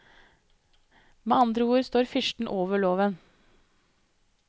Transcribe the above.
Med andre ord står fyrsten over loven.